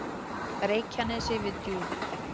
Reykjanesi við Djúp.